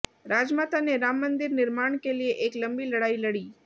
राजमाता ने राम मंदिर निर्माण के लिए एक लंबी लड़ाई लड़ी